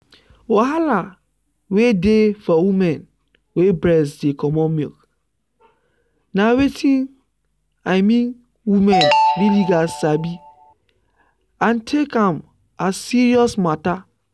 wahala wey dey for women wey breast dey comot milk na wetin i mean women really gat sabi and take am as serious matter.